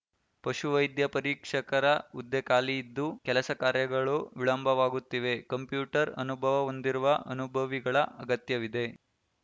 ಪಶು ವೈದ್ಯ ಪರೀಕ್ಷಕರ ಹುದ್ದೆ ಖಾಲಿಯಿದ್ದು ಕೆಲಸ ಕಾರ್ಯಗಳು ವಿಳಂಬವಾಗುತ್ತಿವೆ ಕಂಪ್ಯೂಟರ್‌ ಅನುಭವ ಹೊಂದಿರುವ ಅನುಭವಿಗಳ ಅಗತ್ಯವಿದೆ